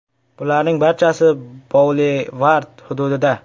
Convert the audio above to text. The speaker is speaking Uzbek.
Bularning barchasi Boulevard hududida.